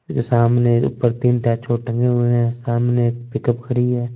और सामने ऊपर तीन टेशबोर्ड टंगे हुए है सामने एक पिकउप खड़ी है।